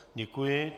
Děkuji.